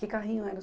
Que carrinho era?